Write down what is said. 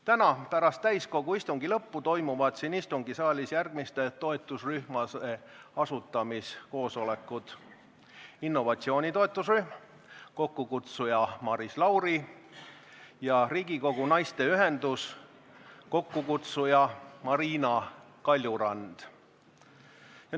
Täna pärast täiskogu istungi lõppu toimuvad siin istungisaalis järgmiste toetusrühmade asutamiskoosolekud: innovatsiooni toetusrühm, mille kokkukutsuja on Maris Lauri, ja Riigikogu naiste ühendus, mille kokkukutsuja on Marina Kaljurand.